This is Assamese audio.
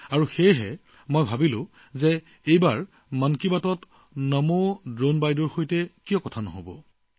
আৰু সেয়ে মইও ভাবিলোঁ যে এইবাৰ মন কী বাটত এগৰাকী নমো ড্ৰোন দিদিৰ লগত কথা পাতিম